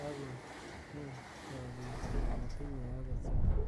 ako ngem chopik kole matinyei angot siling